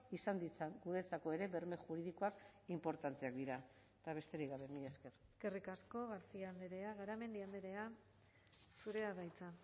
izan ditzan guretzako ere berme juridikoak inportanteak dira eta besterik gabe mila esker eskerrik asko garcia andrea garamendi andrea zurea da hitza